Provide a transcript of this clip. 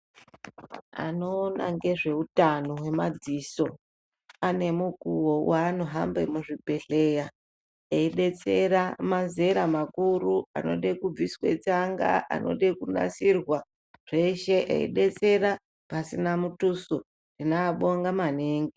Vanoona nezvehutano wemadziso pane mukuwo wavanohamba muzvibhedhlera veidetsera mazera makuru anoda kubviswa tsanga anoda kunasirwa zveshe eidetsera pasina Mutuso tinovabonga maningi.